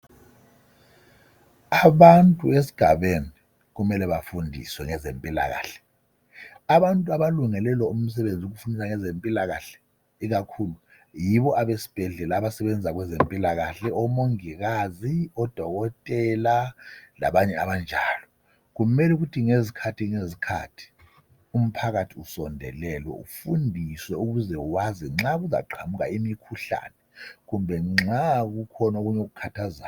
Abantu esigabeni kumele bafundiswe ngezempilakahle ,abantu abalungele lo umsebenzi ukufundisa ngezempilakahle ikakhulu yibo besibhedlela abasebenza kwezempilakahle omongikazi odokotela labanye abanjalo kumele ukuthi ngezikhathi ngezikhathi umphakathi usondelelwe ufundiswe ukuze wazi nxa kuzaqamuka imikhuhlane kumbe nxa kukhona okunye okukhathazayo.